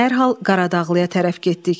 Dərhal Qaradağlıya tərəf getdik.